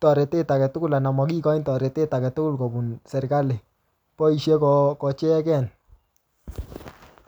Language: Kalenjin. torotet age tugul anan makikochin torotet age tugul kobun serikali. Boisie ko-ko icheken